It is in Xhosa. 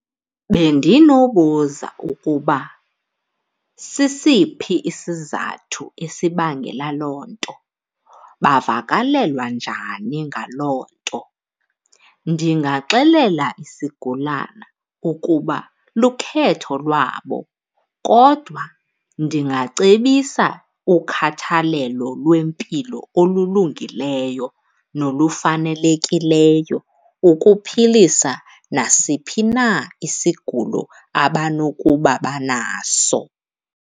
Bendinobuza ukuba sisiphi isizathu esibangela loo nto, bavakalelwa njani ngaloo nto. Ndingaxelela isigulana ukuba lukhetho lwabo kodwa ndingacebisa ukhathalelo lwempilo olulungileyo nolufanelekileyo ukuphilisa nasiphi na isigulo abanokuba banaso.